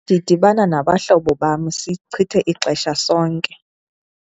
Ndidibana nabahlobo bam sichithe ixesha sonke.